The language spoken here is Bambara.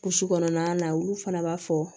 Kulusi kɔnɔna na olu fana b'a fɔ